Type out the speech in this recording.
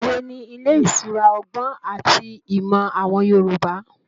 Òwe ni ilé ìṣura ọgbọ́n àti ìmọ̀ àwọn Yorùbá.